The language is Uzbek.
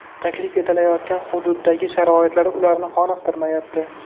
Taklif etilayotgan hududdagi sharoitlar ularni qoniqtirmayapti.